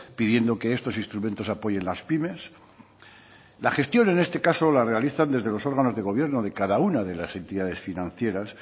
pidiendo que estos instrumentos apoyen las pymes la gestión en este caso la realizan desde los órganos de gobierno de cada una de las entidades financieras